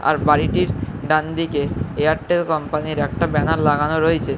আর বাড়িটির ডানদিকে এয়ারটেল কমপানির একটি ব্যানার লাগানো রয়েছে।